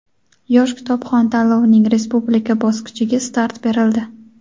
"Yosh kitobxon" tanlovining respublika bosqichiga start berildi!.